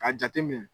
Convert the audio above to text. K'a jate minɛ